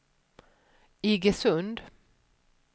Iggesund